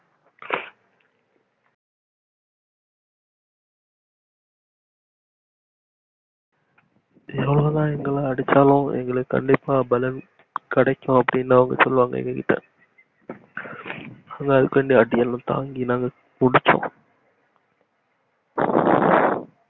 யாரு எங்கள அடிச்சாலும் கண்டிப்பா பலன் கிடைக்கும் அப்டின்னுசொல்லுவாங்க எங்ககிட்ட அதுக்காண்டி அந்த அடியெல்லா தாங்கி நாங்க படிச்சோம்